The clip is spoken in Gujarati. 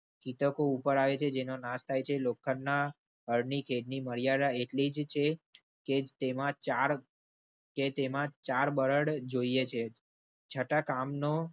તકો ઉપર આવે છે જેનો નાશ થાય છે. લોખંડના હળની ખેડની મર્યાદા એટલી જ છે કે તેમાં ચાર કે તેમાં ચાર બળદ જોઈએ છે છતાં કામનો